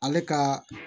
Ale ka